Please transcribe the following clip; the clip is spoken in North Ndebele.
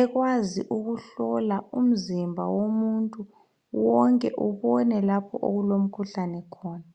ekwazi ukuhlola umzimba womuntu wonke ubone okulo mkhuhlane khona.